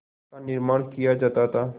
का निर्माण किया जाता था